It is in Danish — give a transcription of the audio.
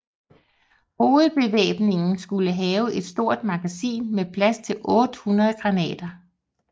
Hovedbevæbningen skulle have et stort magasin med plads til 800 granater